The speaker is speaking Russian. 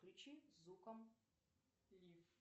включи зуком лиф